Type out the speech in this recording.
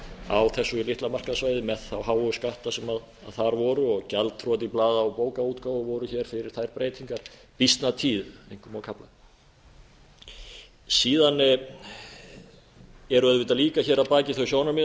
á þessu litla markaðssvæði með þá háu skatta sem þar voru og gjaldþrot í blaða og bókaútgáfu voru hér fyrir þær breytingar býsna tíð einkum á kafla síðan eru auðvitað líka hér að baki þau sjónarmið